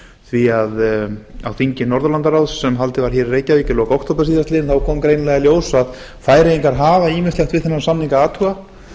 því að á þingi norðurlandaráðs sem haldið var hér í reykjavík í lok október síðastliðinn kom greinilega í ljós að færeyingar hafa ýmislegt við þennan saman að athuga